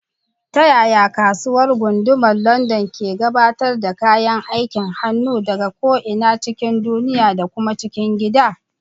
Ta yaya Kasuwar Gundumar London ke gabatar da kayan aikin hannu daga ko'ina cikin duniya da kuma cikin gida?